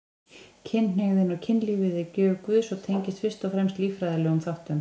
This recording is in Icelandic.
Kynhneigðin og kynlífið er gjöf Guðs og tengist fyrst og fremst líffræðilegum þáttum.